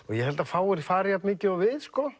ég held að fáir fari jafnmikið og við sko